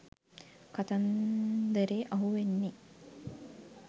කතන්දරේ අහුවෙන්නෙ.